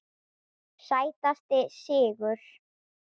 Sætasti sigur?